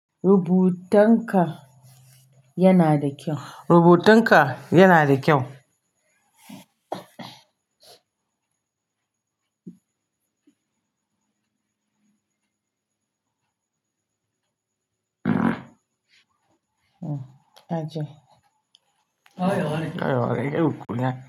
Rubutun ka yana da kyau. Rubutun ka yana da kyau. Aji. Kai waye? Kai waye? Kai uku ne.